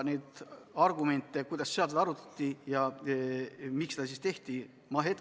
Neid argumente, kuidas seal seda arutati ja miks seda tehti, ma ei tea.